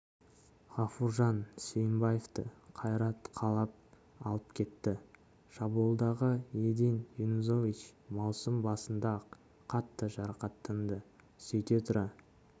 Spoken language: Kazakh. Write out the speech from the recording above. ғафуржан сүйімбаевты қайрат қалап алып кетті шабуылдағы един юнузович маусым басында-ақ қатты жарақаттанды сөйте тұра